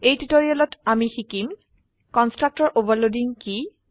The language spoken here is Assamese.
এই টিউটোৰিয়েলত আমি শিকিম কনষ্ট্ৰাক্টৰ অভাৰলোডিং কি